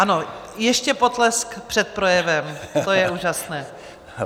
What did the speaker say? Ano, ještě potlesk před projevem, to je úžasné.